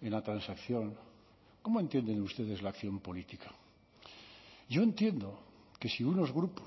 en la transacción cómo entienden ustedes la acción política yo entiendo que si unos grupos